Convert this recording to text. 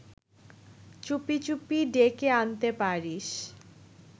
চুপি চুপি ডেকে আনতে পারিস